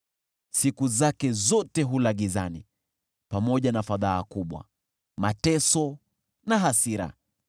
Siku zake zote hula gizani, pamoja na fadhaa kubwa, mateso na hasira.